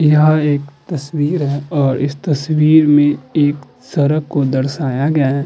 यहाँ एक तस्वीर है और इस तस्वीर में एक सड़क को दर्शाया गया है।